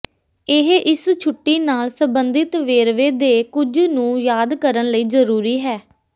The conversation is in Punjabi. ਇਹ ਇਸ ਛੁੱਟੀ ਨਾਲ ਸੰਬੰਧਿਤ ਵੇਰਵੇ ਦੇ ਕੁਝ ਨੂੰ ਯਾਦ ਕਰਨ ਲਈ ਜ਼ਰੂਰੀ ਹੈ